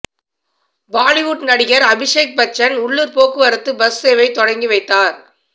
பாலிவுட் நடிகர் அபிஷேக் பச்சன் உள்ளூர் போக்குவரத்து பஸ் சேவை தொடங்கி வைத்தார்